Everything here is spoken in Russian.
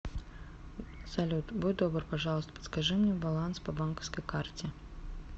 салют будь добр пожалуйста подскажи мне баланс по банковской карте